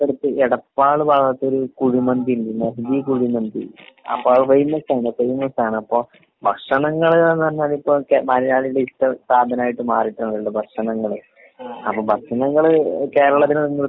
എടപ്പാൾ ഭാഗത്തൊരു കുഴിമന്തി ഇണ്ട്. കുഴിമന്തി. ആ ഫേമസ് ആണ് ഫേമസ് ആണ്. അപ്പൊ ഭക്ഷണങ്ങള്ന്ന് പറഞ്ഞാലിപ്പോ ഒക്കെ മലയാളികളുടെ ഇഷ്ട സാധങ്ങളായിട്ട് മാറിയിട്ട്ണ്ട് ഭക്ഷണങ്ങള്. അപ്പൊ ഭക്ഷണങ്ങള് കേരളത്തില്